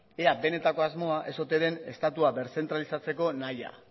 ea benetako asmoa ez ote den estatua berzentralizatzeko nahia